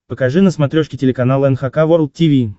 покажи на смотрешке телеканал эн эйч кей волд ти ви